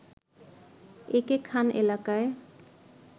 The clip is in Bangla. এ কে খান এলাকায়